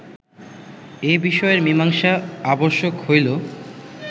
এ বিষয়ের মীমাংসা আবশ্যক হইল